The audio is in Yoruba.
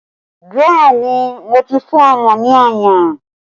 Bẹẹ ni, mo ti fún ọmọ ní ọyàn